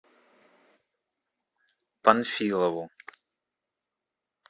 панфилову